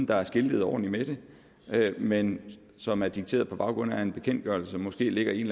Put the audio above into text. der er skiltet ordentligt med det men som er dikteret på baggrund af en bekendtgørelse som måske ligger i en